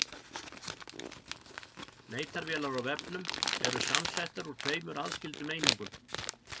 Leitarvélar á vefnum eru samsettar úr tveimur aðskildum einingum.